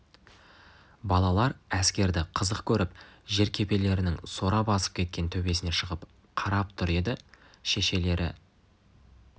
балалар әскерді қызық көріп жеркепелерінің сора басып кеткен төбесіне шығып қарап тұр еді шешелері